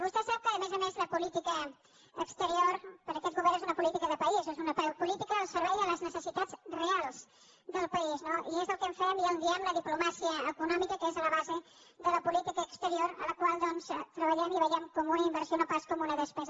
vostè sap que a més a més la política exterior per a aquest govern és una política de país és una política al servei de les necessitats reals del país no i és el que fem i en diem la diplomàcia econòmica que és la base de la política exterior amb la qual doncs treballem i que veiem com una inversió i no pas com una despesa